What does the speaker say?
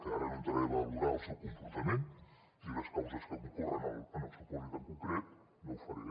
que ara no entraré a valorar el seu comportament ni les causes que concorren en el supòsit en concret no ho faré